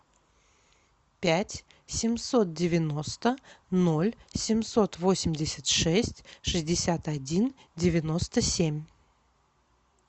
пять семьсот девяносто ноль семьсот восемьдесят шесть шестьдесят один девяносто семь